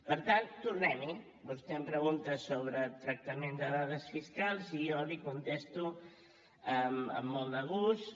per tant tornem hi vostè em pregunta sobre tractament de dades fiscals i jo li contesto amb molt de gust